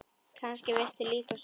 Kannski veistu líka svarið.